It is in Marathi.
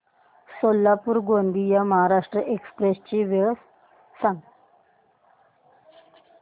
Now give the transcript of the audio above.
सोलापूर गोंदिया महाराष्ट्र एक्स्प्रेस ची वेळ सांगा